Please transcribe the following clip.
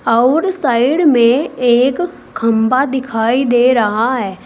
अउर साइड में एक खंभा दिखाई दे रहा है।